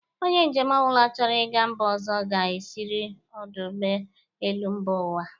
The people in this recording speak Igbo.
ọnye njem ọbụla chọrọ ịga mba ọzọ ga-esiriri ọdụ ụgbọelu mba ụwa.